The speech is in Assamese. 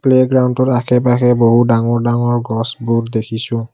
প্লে গ্ৰাউণ্ডৰ আশে পাশে বহু ডাঙৰ ডাঙৰ গছবোৰ দেখিছোঁ।